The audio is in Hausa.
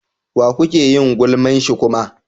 Wa kuke yin gulman shi kuma?